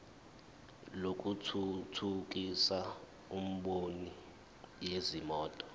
lokuthuthukisa imboni yezimoto